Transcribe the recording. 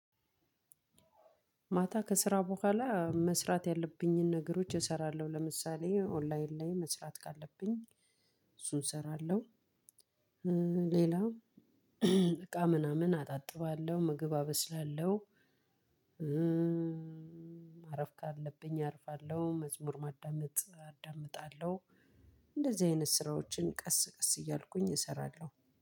ማታ ከስራ በኋላ መስራት ያለብኝን ነገሮች እሰራለሁ ለምሳሌ ኦንላይን ላይ መስራት ካለብኝ እሱን እሰራለሁ። ሌላ እቃ ምናምን አጣጥባለሁ ምግብ አበስላለሁ። ማረፍ ካለብኝ አርፋለሁ መዝሙር ማዳመጥ አዳምጣለሁ። እንደዚህ አይነት ስራዎችን ቀስ ቀስ እያልኩኝ እሰራለሁ